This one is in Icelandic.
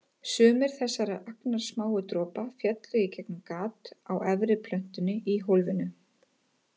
Sumir þessara agnarsmáu dropa féllu í gegnum gat á efri plötunni í hólfinu.